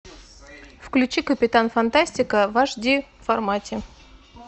включи капитан фантастика в аш ди формате